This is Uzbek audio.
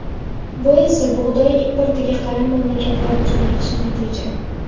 Bu esa bug‘doy importiga qaram mamlakatlar uchun yaxshi natija.